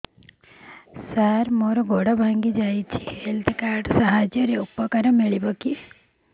ସାର ମୋର ଗୋଡ଼ ଭାଙ୍ଗି ଯାଇଛି ହେଲ୍ଥ କାର୍ଡ ସାହାଯ୍ୟରେ ଉପକାର ମିଳିବ